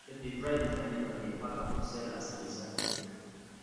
dem dey dry bitterleaf and dey pack am to sell as preserved veg